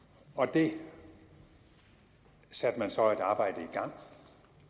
det satte man så et arbejde i gang